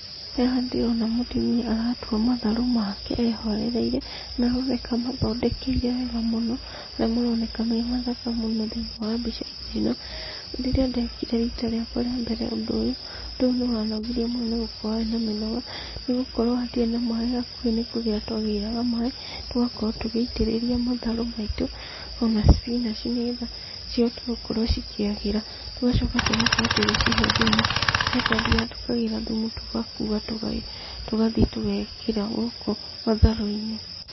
Haha ndĩrona mũtumia aratua matharũ make ehorereire, na aroneka amathondekeire wega mũno, harĩa maroneka memathaka mũno thĩinĩ wa mbica-inĩ ĩno. Rĩrĩa ndekire rita rĩakwa rĩambere ũndũ ũyũ, ũndũ ũyũ nĩwanogirie mũno nĩgũkorwo warĩ na mĩnoga, nĩgũkorwo hatiarĩ na maaĩ hakuhĩ nĩkũgĩra twagĩraga maaĩ, tũgakorwo tũgĩitĩrĩria matharũ maitũ, ona spinanji nĩgetha cigakorwo cikĩagĩra. Tũgacoka tũgakorwo tũgĩcihe thumu, harĩa twathiaga tũkagĩra thumu tũgakuua tũgathiĩ tũgekĩra gũkũ matharũ-inĩ.